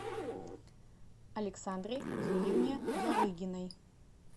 александре юрьевне ярыгиной